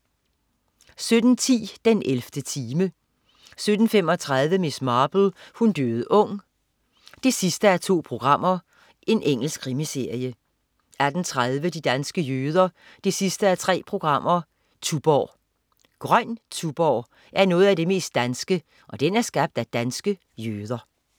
17.10 den 11. time 17.35 Miss Marple: Hun døde ung 2:2. Engelsk krimiserie 18.30 De danske jøder 3:3. Tuborg. Grøn Tuborg er noget af det mest danske, og den er skabt af danske jøder